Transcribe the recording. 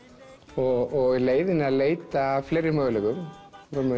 og í leiðinni leita að fleiri möguleikum við